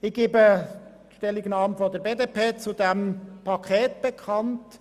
Ich gebe die Stellungnahme der BDP zu diesem Paket bekannt.